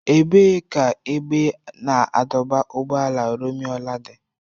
Ebee ka ebe a na-adọba- ụgbọala Rumuọla dị?